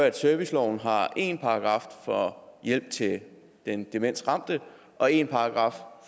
at serviceloven har én paragraf for hjælp til den demensramte og én paragraf